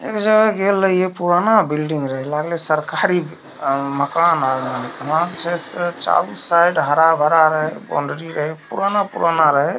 इमहरो गैले या पूराना बिल्डिंग रहे लागले सरकारी मकान चारो साइड हरा-भरा रहे बॉउंड्री रहे पुराना पुराना रहे ।